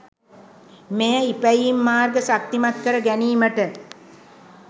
මෙය ඉපැයීම් මාර්ග ශක්තිමත් කර ගැනීමට